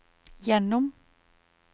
gjennom